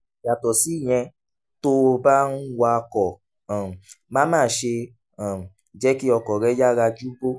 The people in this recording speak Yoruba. yàtọ̀ síyẹn tó o bá ń wakọ̀ um má má ṣe um jẹ́ kí ọkọ̀ rẹ yára ju bó